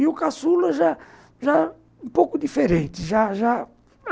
E o caçula, já já um pouco diferente já já